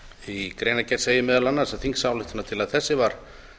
í greinargerð segir meðal annars þingsályktunartillaga þessi var